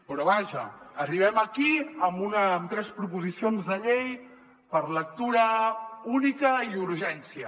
però vaja arribem aquí amb tres proposicions de llei per lectura única i urgència